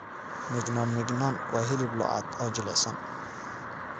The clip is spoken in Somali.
Mignon mignon waa hilib lo'aad oo jilicsan.